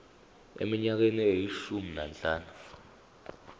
eminyakeni eyishumi nanhlanu